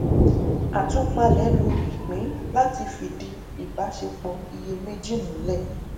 àtúpalẹ lò ipin láti fìdí ìbáṣepọ iye méjì múlẹ